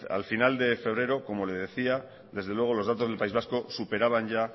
al final de febrero como le decía desde luego los datos del país vasco superaban ya